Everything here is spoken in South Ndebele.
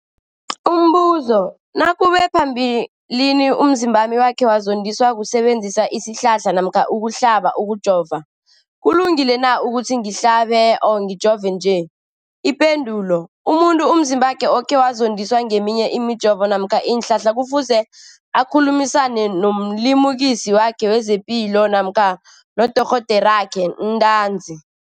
Umbuzo, nakube phambilini umzimbami wakhe wazondiswa kusebenzisa isihlahla namkha ukuhlaba, ukujova, kulungile na ukuthi ngihlabe, ngijove nje? Ipendulo, umuntu umzimbakhe okhe wazondiswa ngeminye imijovo namkha iinhlahla kufuze akhulumisane nomlimukisi wakhe wezepilo namkha nodorhoderakhe ntanzi.